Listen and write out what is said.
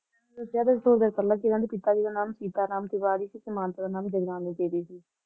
ਦਸਿਆ ਤਾਂ ਸੀ ਥੋੜੀ ਦੇਰ ਪਹਿਲਾਂ ਕਿ ਓਹਨਾਂ ਦੇ ਪਿਤਾ ਜੀ ਦਾ ਨਾਂ ਸੀਤਾਰਾਮ ਤਿਵਾਰੀ ਸੀ ਤੇ ਮਾਤਾ ਦਾ ਨਾਂ ਜਗਰਾਨੀ ਦੇਵੀ ਸੀ